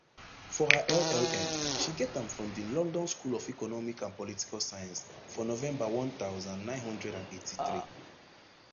for her llm she get am from di london school of economic and political science for november one thousand, nine hundred and eighty-three